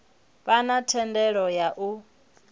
vha na thendelo ya u